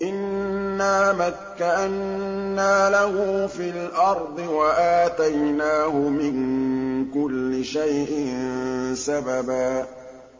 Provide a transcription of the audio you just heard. إِنَّا مَكَّنَّا لَهُ فِي الْأَرْضِ وَآتَيْنَاهُ مِن كُلِّ شَيْءٍ سَبَبًا